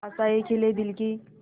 आशाएं खिले दिल की